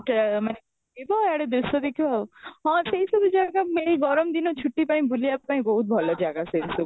ତ ମାନେ ଖାଇବ ଏଇ ଆଡେ ଦୃଶ୍ୟ ଦେଖିବ ଆଉ ହଁ ସେଇ ସବୁ ଜାଗା ମିଳେ ଗରମ ଦିନ ଛୁଟି ପାଇଁ ବୁଲିବା ପାଇଁ ବହୁତ ଭଲ ଜାଗା ସେ ସବୁ